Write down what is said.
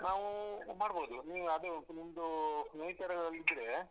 ನಾವು ಮಾಡ್ಬೋದು ನೀವು ಅದು ನಿಮ್ಮದು nature ಇದ್ರೆ.